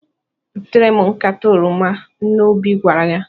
"Butere m nkata oroma," nne Obi gwara ya.